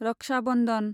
Raksha Bandhan